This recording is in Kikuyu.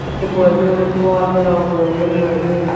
nĩ mweri ũrĩkũ wa mĩrongo ĩĩrĩ mweri ũyũ